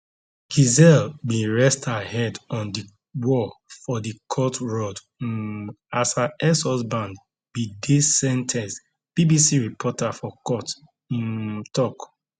gisele bin rest her head on di wall for di court rod um as her exhusband bin dey sen ten ced bbc reporter for court um tok